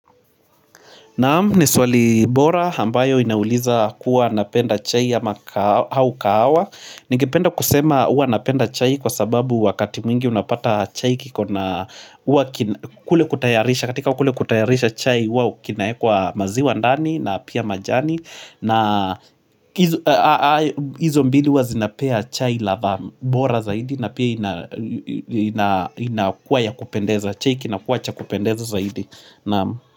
Naam, ni swali bora, ambayo inauliza kuwa napenda chai au kahawa. Ningependa kusema huwa napenda chai kwa sababu wakati mwingi unapata chai kiko na huwa kule kutayarisha. Katika kule kutayarisha chai, huwa kinaekwa maziwa ndani na pia majani. Na hizo mbili huwa zinapea chai ladha bora zaidi na pia inakuwa ya kupendeza. Chai kinakuwa cha kupendeza zaidi. Naam.